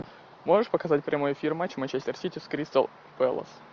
можешь показать прямой эфир матч манчестер сити с кристал пэлас